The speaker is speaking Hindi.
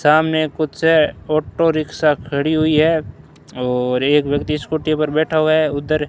सामने कुछ ऑटो रिक्शॉ खड़ी हुई है और एक व्यक्ति स्कूटी पर बैठा हुआ है उधर--